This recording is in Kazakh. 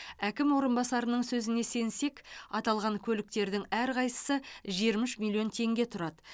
әкім орынбасарының сөзіне сенсек аталған көліктердің әрқайсысы жиырма үш миллион теңге тұрады